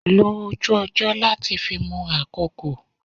Lo ojú ọjọ́ láti fi mọ àkókò.